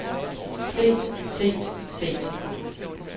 set set set